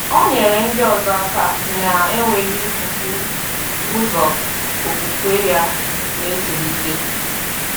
Ọ nyere ndị ọzọ aka na-enweghị ifufu ụzọ okwukwe ya na-etolite.